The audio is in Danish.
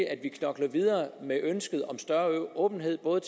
at vi knokler videre med ønsket om større åbenhed både